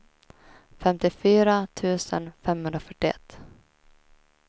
femtiofyra tusen femhundrafyrtioett